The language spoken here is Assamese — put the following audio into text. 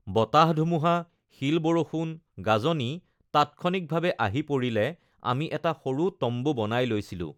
বতাহ-ধুমুহা, শিল-বৰষুণ, গাজনি তাৎক্ষণিকভাৱে আহি পৰিলে আমি এটা সৰু তম্বু বনাই লৈছিলোঁ